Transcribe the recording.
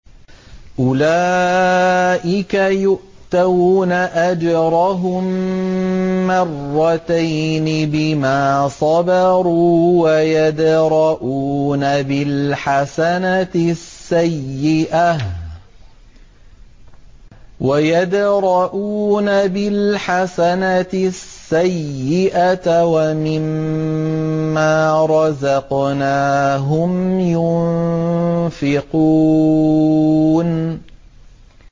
أُولَٰئِكَ يُؤْتَوْنَ أَجْرَهُم مَّرَّتَيْنِ بِمَا صَبَرُوا وَيَدْرَءُونَ بِالْحَسَنَةِ السَّيِّئَةَ وَمِمَّا رَزَقْنَاهُمْ يُنفِقُونَ